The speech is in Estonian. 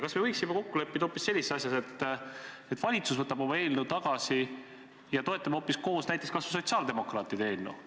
Kas me võiksime kokku leppida hoopis sellises asjas, et valitsus võtab oma eelnõu tagasi ja toetame koos näiteks kas või sotsiaaldemokraatide eelnõu?